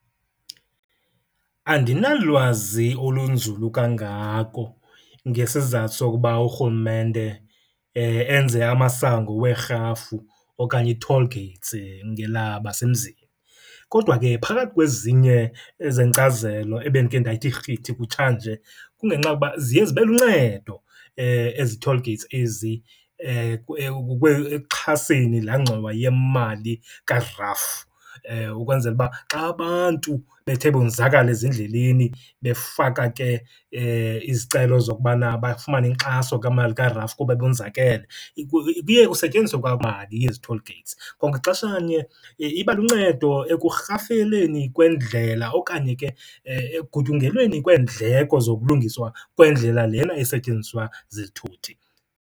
Andinalwazi olunzulu kangako ngesizathu sokuba urhulumente enze amasango weerhafu okanye ii-toll gates ngelabasemzini. Kodwa ke phakathi kwezinye ezenkcazelo ebendike ndayithi rhithi kutshanje, kungenxa okuba ziye zibe luncedo ezi toll gates ezi ekuxhaseni laa ngxowa yemali kaRAF. Ukwenzela uba xa abantu bethe bonzakala ezindleleni befaka ke izicelo zokubana bafumane inkxaso kamali kaRAF kuba bonzakele, kuye kusetyenziswe mali yezi toll gates. Kwangaxesha nye iba luncedo ekurhafeleni kwendlela okanye ke ekugutyungelweni kweendleko zokulungiswa kwendlela lena esetyenziswa zizithuthi.